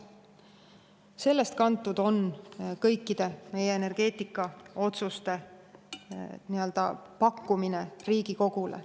Sellest on kantud kõikide meie energeetikaotsuste nii-öelda pakkumine Riigikogule.